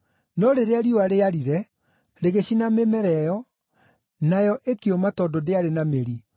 No rĩrĩa riũa rĩaarire rĩgĩcina mĩmera ĩyo, nayo ĩkĩũma tondũ ndĩarĩ na mĩri.